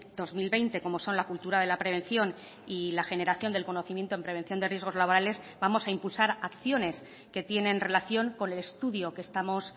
dos mil veinte como son la cultura de la prevención y la generación del conocimiento en prevención de riesgos laborales vamos a impulsar acciones que tienen relación con el estudio que estamos